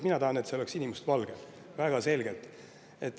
Mina tahan, et see lipp oleks sinimustvalge, väga selgelt.